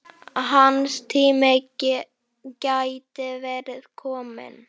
Hans tími gæti verið kominn.